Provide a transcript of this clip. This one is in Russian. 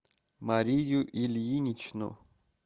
марию ильиничну